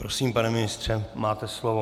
Prosím, pane ministře, máte slovo.